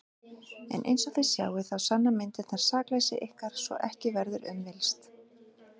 En einsog þið sjáið þá sanna myndirnar sakleysi ykkar svo að ekki verður um villst.